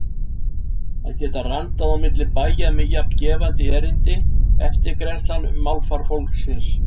Að geta randað á milli bæja með jafn gefandi erindi: eftirgrennslan um málfar fólksins.